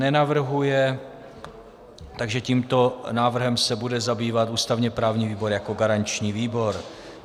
Nenavrhuje, takže tímto návrhem se bude zabývat ústavně-právní výbor jako garanční výbor.